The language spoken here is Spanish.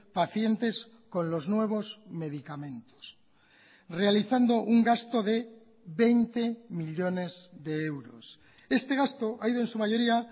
pacientes con los nuevos medicamentos realizando un gasto de veinte millónes de euros este gasto ha ido en su mayoría